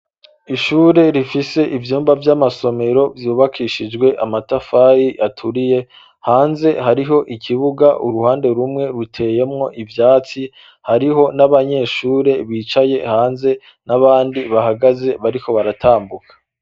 Ishure rifise ivyumba vy'amasomero vyubakishijwe amatafari aturiye hanze hariho ikibuga uruhande rumwe ruteyemwo ivyatsi hariho n'abanyeshure bicaye hanze n'abandi bahagaze bariko baratambuka.